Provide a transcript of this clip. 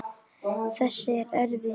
Þessi er erfið.